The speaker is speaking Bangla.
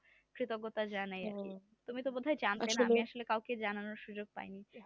কৃতজ্ঞতা জানাই সবাইকে তুমি তো জানোই না